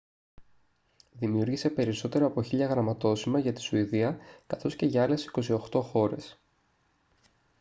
δημιούργησε περισσότερα από 1.000 γραμματόσημα για τη σουηδία καθώς και για άλλες 28 χώρες